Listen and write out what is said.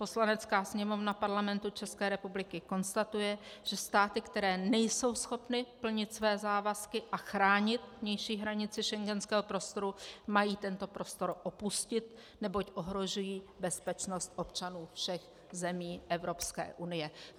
Poslanecká sněmovna Parlamentu České republiky konstatuje, že státy, které nejsou schopny plnit své závazky a chránit vnější hranice schengenského prostoru, mají tento prostor opustit, neboť ohrožují bezpečnost občanů všech zemí Evropské unie.